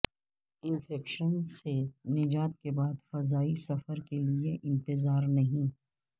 infection سے نجات کے بعد فضائی سفر کیلئے انتظارنہیں